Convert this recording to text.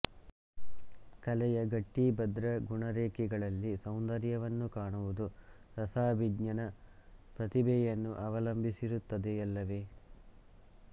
ಕಲೆಯ ಗಟ್ಟಿಭದ್ರ ಗುಣರೇಖೆಗಳಲ್ಲಿ ಸೌಂದರ್ಯವನ್ನು ಕಾಣುವುದು ರಸಾಭಿಜ್ಞನ ಪ್ರತಿಭೆಯನ್ನು ಅವಲಂಬಿಸಿರುತ್ತದೆಯಲ್ಲವೆ